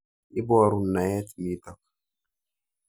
Iporun naet nitok.